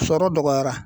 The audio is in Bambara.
Sɔrɔ dɔgɔyara